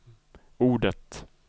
ordet